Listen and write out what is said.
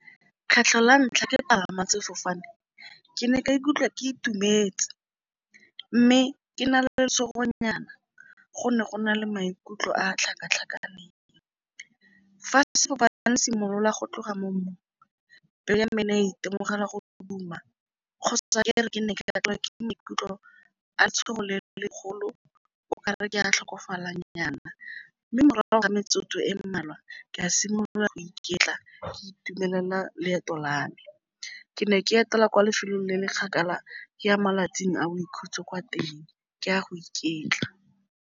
Kgetlho la ntlha ke palama sefofane ke ne ka ikutlwa ke itumetse, mme ke na le lesego nyana go ne go na le maikutlo a a tlhakatlhakaneng. Fa sefofane se simolola go tloga mo mmung itemogela a go duma ke maikutlo a tshogo le le golo o kare ke a tlhokofala nyana mme morago ga gore metsotso e mmalwa ke a simolola go iketla ke itumelela leeto la me. Ke ne ke etela kwa lefelong le le kgakala ke a malatsing a boikhutso kwa teng, ke a go iketla.